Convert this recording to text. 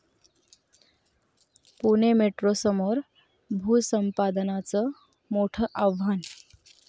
पुणे मेट्रोसमोर भूसंपादनाचं मोठ आव्हान